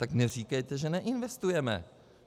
Tak neříkejte, že neinvestujeme.